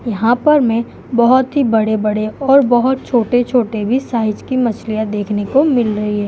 यहां पर मे बोहोत ही बड़े-बड़े और बोहोत छोटे-छोटे भी साइज के मछलियां देखने को मिल रही हैं।